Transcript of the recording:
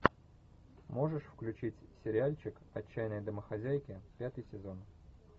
можешь включить сериальчик отчаянные домохозяйки пятый сезон